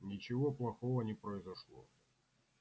ничего плохого не произошло